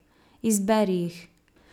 Izberi jih.